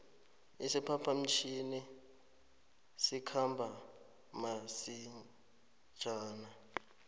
isiphapha mtjhini sikhamba masinjana